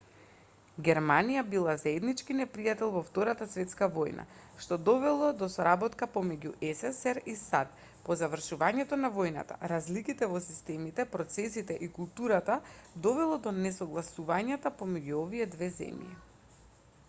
германија била заеднички непријател во втората светска војна што довело до соработка помеѓу ссср и сад по завршувањето на војната разликите во системите процесите и културата довело до несогласувањата помеѓу овие две земји